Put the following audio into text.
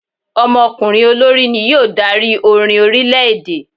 Ọmọkùnrin olórí ni yóò dari orín orilẹ-ede